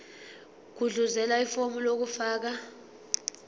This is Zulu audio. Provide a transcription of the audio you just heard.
gudluzela ifomu lokufaka